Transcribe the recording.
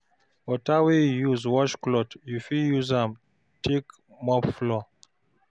water wey yu use wash cloth yu fit use am take mop floor